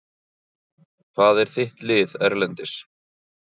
Hvað er þitt lið Erlendis?